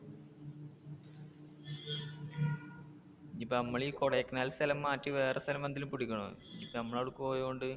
ഇനീപ്പോ നമ്മൾ ഈ കൊടൈക്കനാൽ സ്ഥലം മാറ്റി വേറെ സ്ഥലം പിടിക്കാനോ?